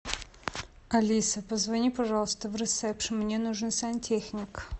алиса позвони пожалуйста в ресепшн мне нужен сантехник